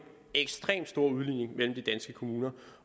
ekstremt stor udligning mellem de danske kommuner